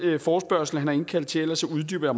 forespørgsel han har indkaldt til ellers uddyber